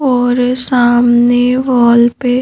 और सामने वॉल पे--